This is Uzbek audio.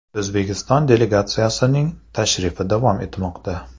O‘zbekiston delegatsiyasining tashrifi davom etmoqda.